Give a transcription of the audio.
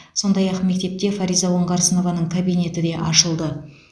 сондай ақ мектепте фариза оңғарсынованың кабинеті де ашылды